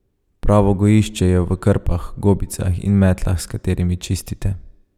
Pravo gojišče je v krpah, gobicah in metlah, s katerimi čistite.